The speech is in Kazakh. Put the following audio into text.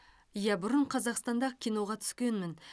иә бұрын қазақстанда киноға түскенмін